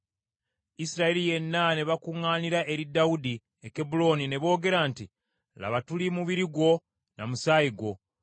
Isirayiri yenna ne bakuŋŋaanira eri Dawudi e Kebbulooni, ne boogera nti, “Laba tuli ba mubiri gwo, na musaayi gwo.